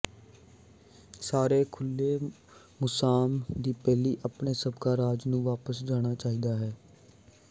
ਸਾਰੇ ਖੁੱਲੇ ਮੁਸਾਮ ਦੀ ਪਹਿਲੀ ਆਪਣੇ ਸਾਬਕਾ ਰਾਜ ਨੂੰ ਵਾਪਸ ਜਾਣਾ ਚਾਹੀਦਾ ਹੈ